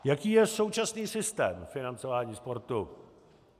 Jaký je současný systém financování sportu?